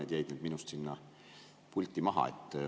Need jäid nüüd minust sinna pulti maha.